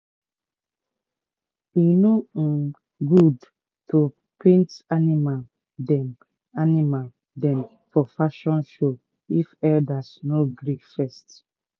"e no um good to paint animal dem animal dem for fashion show if elders no gree first